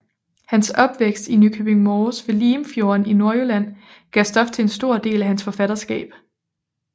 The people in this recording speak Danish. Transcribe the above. Hans opvækst i Nykøbing Mors ved Limfjorden i Nordjylland gav stof til en stor del af hans forfatterskab